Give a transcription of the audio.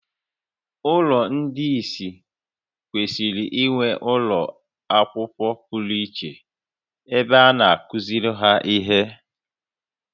Ụlọ ndị ìsì kwesịrị inwe ụlọ akwụkwọ pụrụ iche ebe a na-akụziri ha ihe